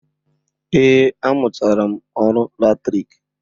Eé, amụchaala m ọrụ latriki